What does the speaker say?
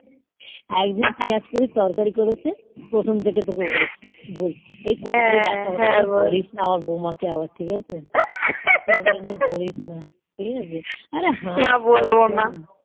একদিন পিয়াজ কেটে তরকারি করেছে প্রথম থেকে তোকে বলেছি বলছি এই কোনদিন যদি দেখা হলে বলিস না আমার বৌমাকে আবার ঠিক আছে কোনদিনও বলিস না আবার ঠিক আছে আরে হাসিস